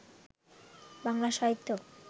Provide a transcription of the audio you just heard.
Bangla Sahitya